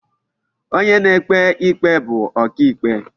Onye na-ekpe ikpe bu oka ikpe.